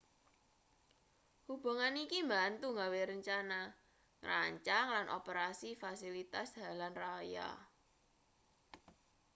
hubungan iki mbantu gawe rencana ngrancang lan operasi fasilitas dalan raya